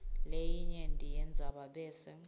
leyincenye yendzaba bese